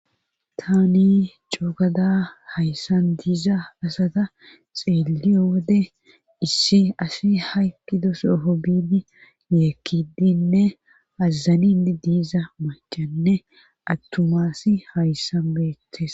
tani coogada hayssan diiza asata xeeliyo wode issi asi haykkidosoho bini yeekkidinne azazanin diiza macanne attumaasi hayssan beettes